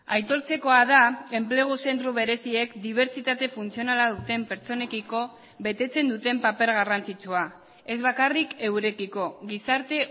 aitortzekoa da enplegu zentro bereziek dibertsitate funtzionala duten pertsonekiko betetzen duten paper garrantzitsua ez bakarrik eurekiko gizarte